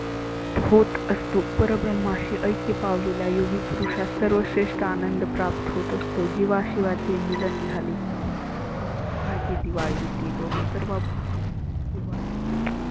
होत असतो. पर ब्रम्हाशी ऐक्य पावलेला योगी पुरुषास सर्व श्रेष्ठ आनंद प्राप्त होत असतो. जिवा शिवाचे मिलन झाले. माह सुखाची दिवाळी येते सर्व भुत. सुख दुखः